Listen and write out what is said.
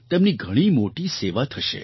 તેમની ઘણી મોટી સેવા થશે